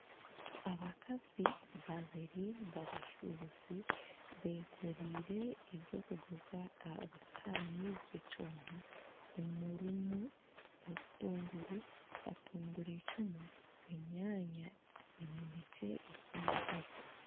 Abakazi babiri babashuubuzi beekoreire eby'okuguza aha bisihaani by'ekyoma omurimu obutunguru, katungurucumu, enyaanya eminekye ehiire.